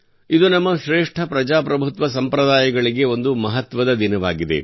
ಇದು ನಮ್ಮ ಶ್ರೇಷ್ಠ ಪ್ರಜಾಪ್ರಭುತ್ವ ಸಂಪ್ರದಾಯಗಳಿಗೆ ಒಂದು ಮಹತ್ವದ ದಿನವಾಗಿದೆ